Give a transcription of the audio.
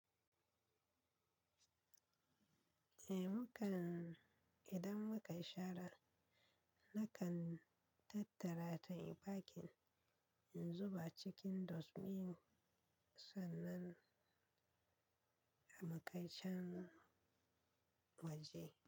Eh mu kan, idan mu kayi shara nakan tattara ta a bakin in zuba cikin dosmin sannan a mu kai can waje.